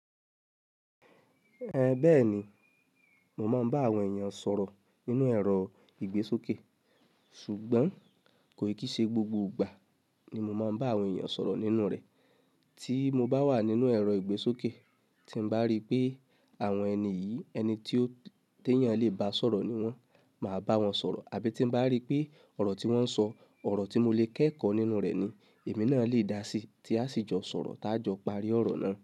Ẹhn bẹ́ẹ̀ni mo máa ń bá àwọn èyàn sọ̀rọ̀ nínú ẹ̀rọ ìgbésókè ṣùgbọ́n kò kí ṣe gbogbo ìgbà ni mo máa ń báwọn èyàn sọ̀rọ̀ nínú rẹ̀. Tí mo bá wà nínú ẹ̀rọ ìgbésókè tí ń bá rí pé àwọn ẹni yìí, ẹni tí ó téyàn lè bá sọ̀rọ̀ ni wọ́n, màá bá wọn sọ̀rọ̀. Àbí tín bá rí pé ọ̀rọ̀ tí wọ́n sọ ọ̀rọ̀ tí mo lè kẹ́kọ̀ nínú rẹ̀ ni èmi ná lè dásí tí a sì jọ sọ̀rọ̀ tá jọ parí ọ̀rọ̀ náà.